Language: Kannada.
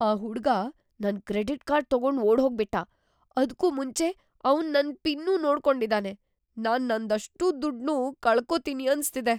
ಆ ಹುಡ್ಗ ನನ್ ಕ್ರೆಡಿಟ್ ಕಾರ್ಡ್ ತಗೊಂಡ್ ಓಡ್ಹೋಗ್ಬಿಟ್ಟ! ಅದ್ಕೂ ಮುಂಚೆ ಅವ್ನ್ ನನ್ ಪಿನ್‌ನೂ ನೋಡ್ಕೊಂಡಿದಾನೆ. ನಾನ್ ನಂದಷ್ಟೂ ದುಡ್ನೂ ಕಳ್ಕೊತೀನಿ ಅನ್ಸ್ತಿದೆ.